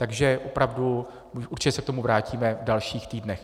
Takže opravdu, určitě se k tomu vrátíme v dalších týdnech.